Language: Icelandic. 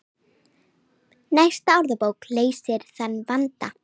Næsta orðabók leysir þann vanda.